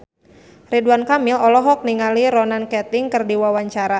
Ridwan Kamil olohok ningali Ronan Keating keur diwawancara